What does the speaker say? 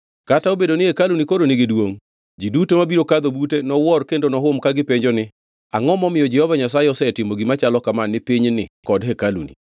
Kata obedo ni hekaluni koro nigi duongʼ, ji duto mabiro kadho bute nowuor kendo nohum ka gipenjo ni, ‘Angʼo momiyo Jehova Nyasaye osetimo gima chalo kama ni pinyni kod hekaluni?’